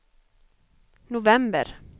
november